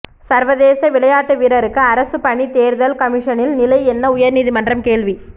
சர்வதேச விளையாட்டு வீரருக்கு அரசுப் பணி தேர்தல் கமிஷனின் நிலை என்ன உயர்நீதிமன்றம் கேள்வி